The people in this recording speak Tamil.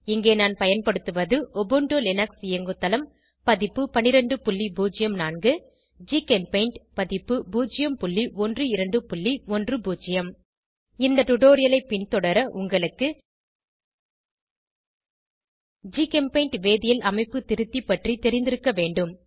இங்கே நான் பயன்படுத்துவது உபுண்டு லினக்ஸ் இயங்குதளம் பதிப்பு 1204 ஜிகெம்பெய்ண்ட் பதிப்பு 01210 இந்த டுடோரியலை பின்தொடர உங்களுக்கு ஜிகெம்பெய்ண்ட் வேதியியல் அமைப்பு திருத்தி பற்றி தெரிந்திருக்க வேண்டும்